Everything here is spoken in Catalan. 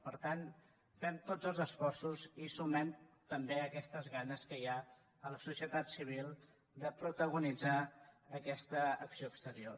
per tant fem tots els esforços i sumem també aquestes ganes que hi ha a la societat civil de protagonitzar aquesta acció exterior